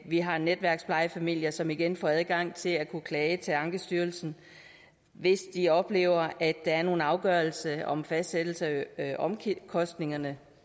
vi har netværksplejefamilier som igen får adgang til at kunne klage til ankestyrelsen hvis de oplever at der er en afgørelse om fastsættelse af omkostningerne